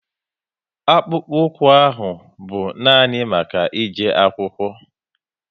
Akpụkpoukwu ahụ bụ nani maka e je akwụkwo